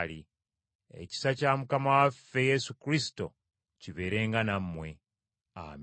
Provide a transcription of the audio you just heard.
Ekisa kya Mukama waffe Yesu Kristo kibeerenga nammwe. Amiina.